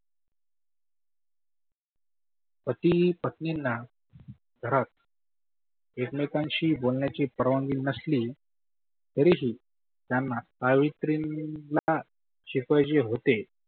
पती पत्नींना घरात एक मेकांशी बोलण्याची परवानगी नसली तरी ही त्यांना सावित्रींना शिकवायचे होते.